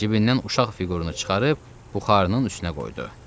Cibindən uşaq fiqurunu çıxarıb buxarının üstünə qoydu.